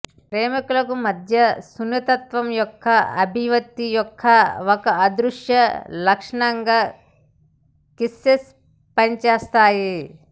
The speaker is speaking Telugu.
ప్రేమికులకు మధ్య సున్నితత్వం యొక్క అభివ్యక్తి యొక్క ఒక అదృశ్య లక్షణంగా కిసెస్ పనిచేస్తాయి